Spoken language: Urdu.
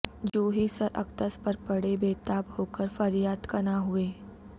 جونہی سر اقدس پر پڑیں بے تاب ہو کر فریاد کناں ہوئیں